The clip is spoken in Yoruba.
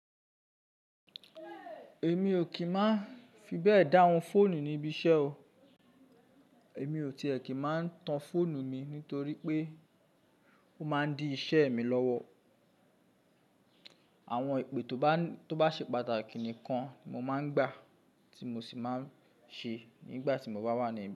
Èmi ò kì í máa fi bẹ́ẹ̀ dáhùn fóònù ní ibi iṣẹ́ o. Èmi ò tì ẹ́ kì í máa tan fóònù mi nítorí pé ó máa ń di iṣẹ́ mi lọ́wọ́. Àwọn ipè tó bá ṣe pàtàkì nìkan ni mo máa ń gbà, tí mo sì máa ń ṣe nígbà tí mo bá wà ní ibi iṣẹ́